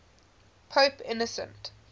pope innocent